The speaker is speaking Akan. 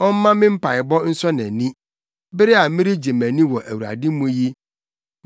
Ɔmma me mpaebɔ nsɔ nʼani bere a meregye mʼani wɔ Awurade mu yi.